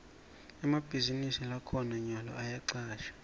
emabhizinisi lakhona nyalo ayacashana